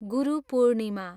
Guru Purnima